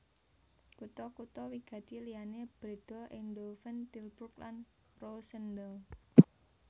Kutha kutha wigati liyané Breda Eindhoven Tilburg lan Roosendaal